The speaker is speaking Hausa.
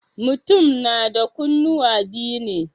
Mutum na da kunnuwa biyu ne.